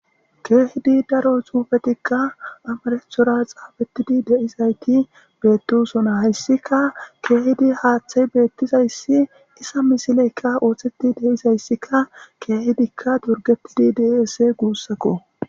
keehidi daro xuufetikka amarethora xaafettidi de'izayti beettosona.hayssika keehidi haaththay beettizayssi isa misileykka ooththeti dizayssika keehidikka torgettidi de'ees guussakko.